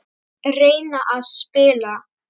Reyna að spila!